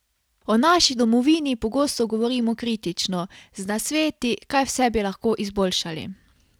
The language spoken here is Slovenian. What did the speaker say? O naši domovini pogosto govorimo kritično, z nasveti, kaj vse bi lahko izboljšali.